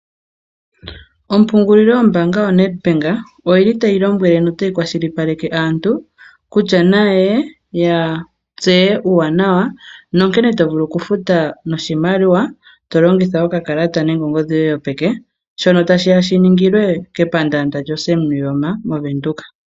Ompungulilo yombaanga yoNEDBANK oyili tayi lombwele notayi kwashilipaleke aantu kutya na yeye ya tseye uuwanawa nonkene to vulu oku futa noshimaliwa, to longitha okakalata nenge ongodhi yoye yopeke, shono tashi ya shi ningilwe kepandaanda lyoSam Nuujoma moVenduka.